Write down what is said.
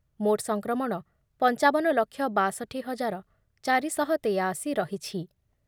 ମୋଟ୍ ସଂକ୍ରମଣ ପଞ୍ଚାବନ ଲକ୍ଷ ବାଷଠି ହଜାର ଚାରି ଶହ ତେୟାଅଶି ରହିଛି